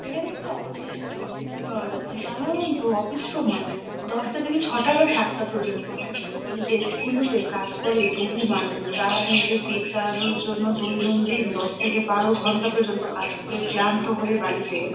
এখানে একটা অফিস এর ছবি দেখতে পাওয়া যাচ্ছে। সাধারণত অফিস সময় দশটা থেকে ছটা বা সাতটা পর্যন্ত হয়। এই দেশগুলোতে কাজ করে বহু মানুষ। যারা নিজেদের পেট চালানোর জন্য দৈনন্দিন দশ থেকে বারো ঘন্টা পর্যন্ত কাজ করে ক্লান্ত হয়ে বাড়ি ফেরে।